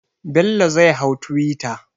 Bello zai hau twitter.